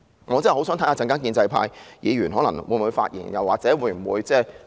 我真的很想知道稍後建制派議員會否發言或表決。